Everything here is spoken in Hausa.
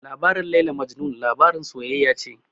Labarin Laila Majnun labarin soyayya ce